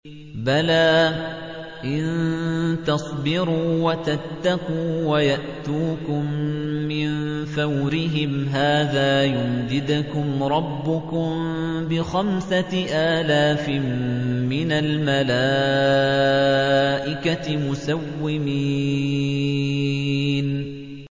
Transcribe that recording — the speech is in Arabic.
بَلَىٰ ۚ إِن تَصْبِرُوا وَتَتَّقُوا وَيَأْتُوكُم مِّن فَوْرِهِمْ هَٰذَا يُمْدِدْكُمْ رَبُّكُم بِخَمْسَةِ آلَافٍ مِّنَ الْمَلَائِكَةِ مُسَوِّمِينَ